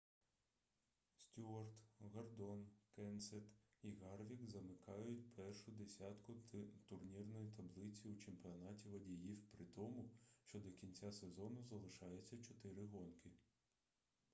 стюарт гордон кенсет і гарвік замикають першу десятку турнірної таблиці у чемпіонаті водіїв при тому що до кінця сезону залишається чотири гонки